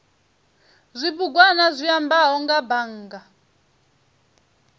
zwibugwana zwi ambaho nga bannga